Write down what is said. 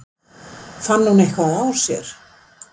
Fann hún eitthvað á sér?